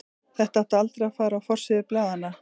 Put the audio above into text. Þetta átti aldrei að fara á forsíður blaðanna.